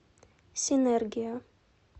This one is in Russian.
синергия